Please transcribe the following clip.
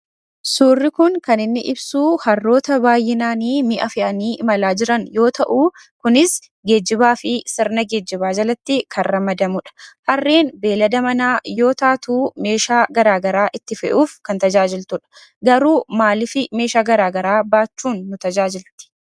Suurri kun kan inni ibsuu harroota baay'inaaniii mi'a fe'anii imalaa jiran yoo ta'uu kunis geejjibaa fi sirna geejjibaa jalatti kan ramadamudha. Harreen beellada manaa yoo taatuu meeshaa gara garaa itti fe'uuf kan tajaajiltudha. Garuu maalifi meeshaa garaa garaa baachuun nu tajaajilti?